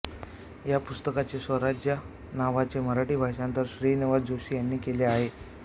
या पुस्तकाचे स्वराज्य नावाचे मराठी भाषांतर श्रीनिवास जोशी यांनी केले आहे